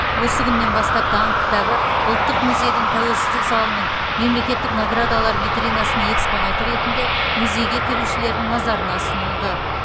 осы күннен бастап даңқ кітабы ұлттық музейдің тәуелсіздік залының мемлекеттік наградалар витринасының экспонаты ретінде музейге келушілердің назарына ұсынылды